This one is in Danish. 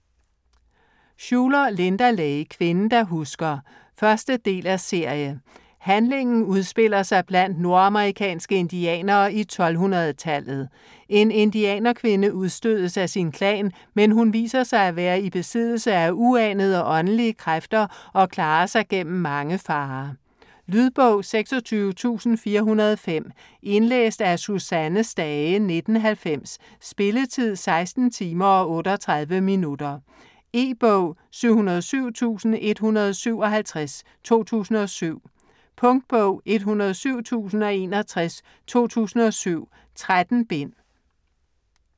Shuler, Linda Lay: Kvinden der husker 1. del af serie. Handlingen udspiller sig blandt nordamerikanske indianere i 1200-tallet. En indianerkvinde udstødes af sin klan, men hun viser sig at være i besiddelse af uanede åndelige kræfter og klarer sig gennem mange farer. Lydbog 26405 Indlæst af Susanne Stage, 1990. Spilletid: 16 timer, 38 minutter. E-bog 707157 2007. Punktbog 107061 2007. 13 bind.